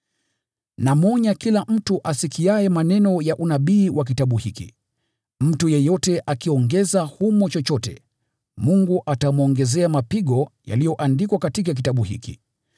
Namwonya kila mtu asikiaye maneno ya unabii wa kitabu hiki: Mtu yeyote akiongeza humo chochote, Mungu atamwongezea mapigo yaliyoandikwa katika kitabu hiki.